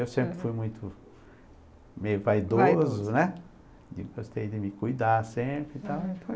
Eu sempre fui muito, meio vaidoso, né, gostei de me cuidar sempre e tal.